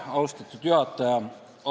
Austatud juhataja!